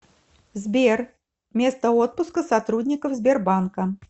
сбер место отпуска сотрудников сбербанка